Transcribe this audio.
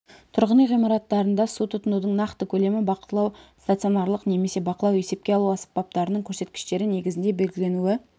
тұрғын үй ғимараттарында су тұтынудың нақты көлемі бақылау стационарлық немесе бақылау есепке алу аспаптарының көрсеткіштері негізінде белгіленуі